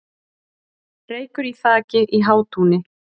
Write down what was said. Reykur í þaki í Hátúni